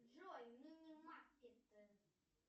джой минимаркет